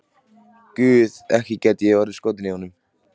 Guð, ekki gæti ég orðið skotin í honum.